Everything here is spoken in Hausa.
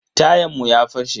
Tayan mu ya fashe.